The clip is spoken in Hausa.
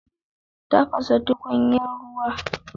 Tafasa tukunyar ruwa.